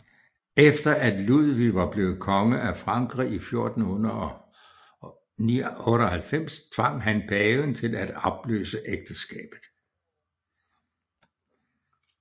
Efter at Ludvig var blevet konge af Frankrig i 1498 tvang han paven til at opløse ægteskabet